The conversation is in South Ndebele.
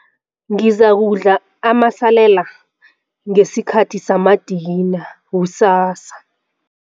Ngizakudla amasalela ngesikhathi samadina kusasa.